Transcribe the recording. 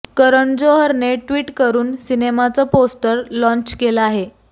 करण जोहरने ट्वीट करुन सिनेमाचं पोस्टर लाँच केलं आहे